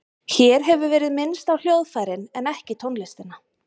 Hér hefur verið minnst á hljóðfærin en ekki tónlistina.